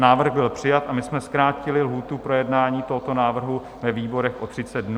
Návrh byl přijat a my jsme zkrátili lhůtu projednání tohoto návrhu ve výborech o 30 dnů na 30 dnů.